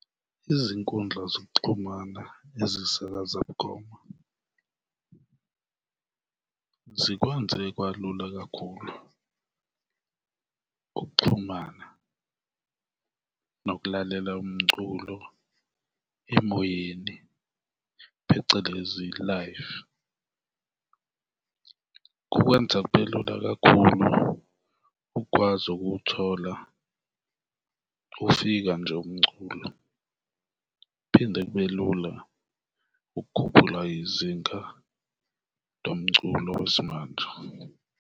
Izinkundla zokuxhumana ezisakaza bukhoma zikwenze kwalula kakhulu ukuxhumana nokulalela umculo emoyeni phecelezi, live. Kukwenza kubelula kakhulu ukwazi ukuwuthola ufika nje umculo kuphinde kube lula ukukhuphula izinga lo mculo wesimanje.